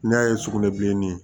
N'i y'a ye sugunɛ bilenni